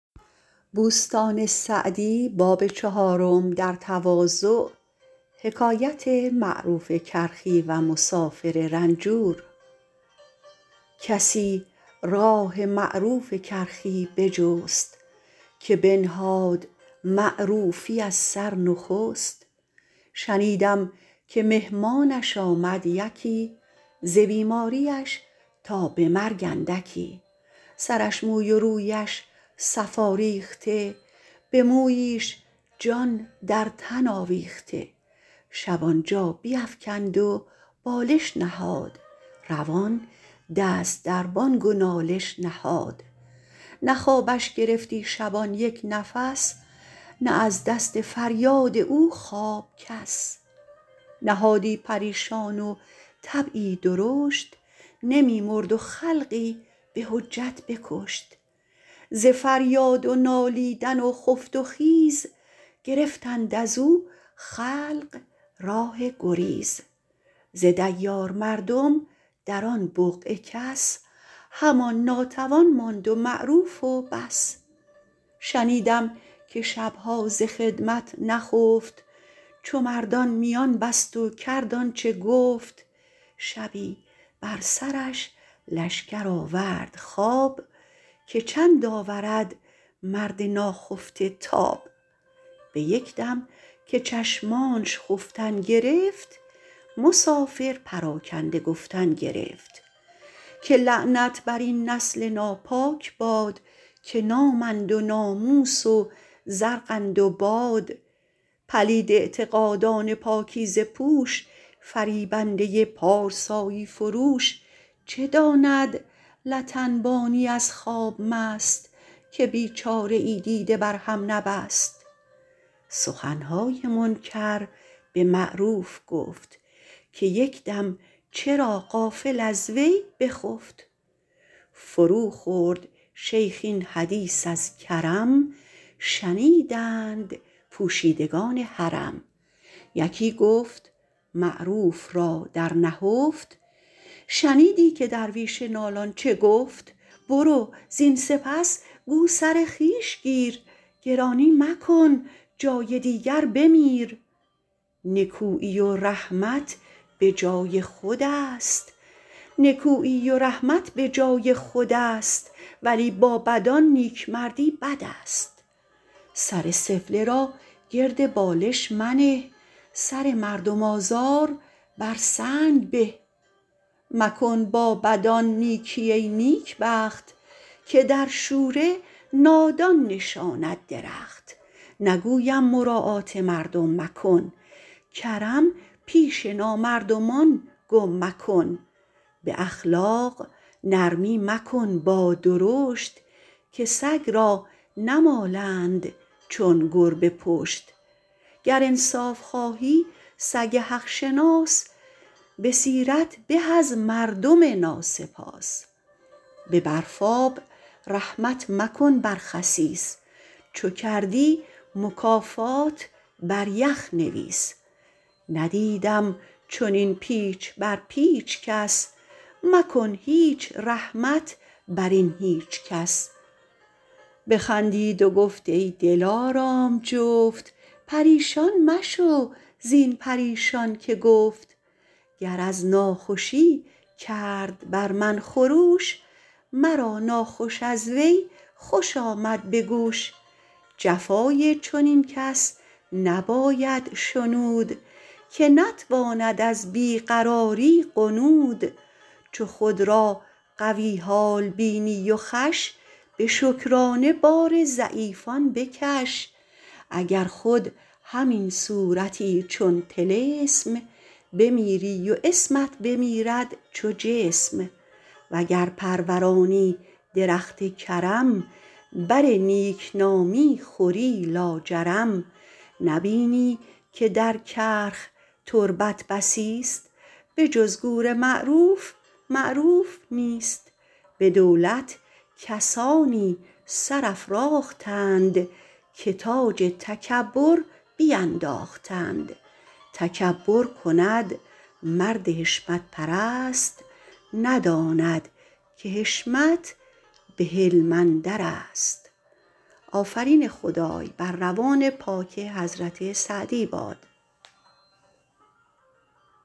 کسی راه معروف کرخی بجست که بنهاد معروفی از سر نخست شنیدم که مهمانش آمد یکی ز بیماریش تا به مرگ اندکی سرش موی و رویش صفا ریخته به موییش جان در تن آویخته شب آنجا بیفکند و بالش نهاد روان دست در بانگ و نالش نهاد نه خوابش گرفتی شبان یک نفس نه از دست فریاد او خواب کس نهادی پریشان و طبعی درشت نمی مرد و خلقی به حجت بکشت ز فریاد و نالیدن و خفت و خیز گرفتند از او خلق راه گریز ز دیار مردم در آن بقعه کس همان ناتوان ماند و معروف و بس شنیدم که شبها ز خدمت نخفت چو مردان میان بست و کرد آنچه گفت شبی بر سرش لشکر آورد خواب که چند آورد مرد ناخفته تاب به یک دم که چشمانش خفتن گرفت مسافر پراکنده گفتن گرفت که لعنت بر این نسل ناپاک باد که نامند و ناموس و زرقند و باد پلید اعتقادان پاکیزه پوش فریبنده پارسایی فروش چه داند لت انبانی از خواب مست که بیچاره ای دیده بر هم نبست سخنهای منکر به معروف گفت که یک دم چرا غافل از وی بخفت فرو خورد شیخ این حدیث از کرم شنیدند پوشیدگان حرم یکی گفت معروف را در نهفت شنیدی که درویش نالان چه گفت برو زین سپس گو سر خویش گیر گرانی مکن جای دیگر بمیر نکویی و رحمت به جای خود است ولی با بدان نیکمردی بد است سر سفله را گرد بالش منه سر مردم آزار بر سنگ به مکن با بدان نیکی ای نیکبخت که در شوره نادان نشاند درخت نگویم مراعات مردم مکن کرم پیش نامردمان گم مکن به اخلاق نرمی مکن با درشت که سگ را نمالند چون گربه پشت گر انصاف خواهی سگ حق شناس به سیرت به از مردم ناسپاس به برفاب رحمت مکن بر خسیس چو کردی مکافات بر یخ نویس ندیدم چنین پیچ بر پیچ کس مکن هیچ رحمت بر این هیچ کس بخندید و گفت ای دلارام جفت پریشان مشو زین پریشان که گفت گر از ناخوشی کرد بر من خروش مرا ناخوش از وی خوش آمد به گوش جفای چنین کس نباید شنود که نتواند از بی قراری غنود چو خود را قوی حال بینی و خوش به شکرانه بار ضعیفان بکش اگر خود همین صورتی چون طلسم بمیری و اسمت بمیرد چو جسم وگر پرورانی درخت کرم بر نیکنامی خوری لاجرم نبینی که در کرخ تربت بسی است به جز گور معروف معروف نیست به دولت کسانی سر افراختند که تاج تکبر بینداختند تکبر کند مرد حشمت پرست نداند که حشمت به حلم اندر است